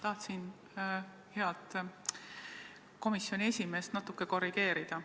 Tahtsin head komisjoni esimeest natuke korrigeerida.